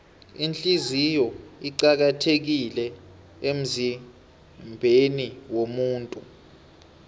ihliziyo iqakathekile emzimbeniwomuntu